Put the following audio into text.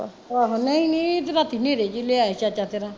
ਆਹੋ ਨਹੀਂ ਨਹੀਂ ਤੇ ਰਾਤੀ ਨੇਰੇ ਚ ਈ ਲਿਆਇਆ ਸੀ ਚਾਚਾ ਤੇਰਾ